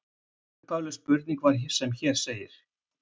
Upphafleg spurning var sem hér segir: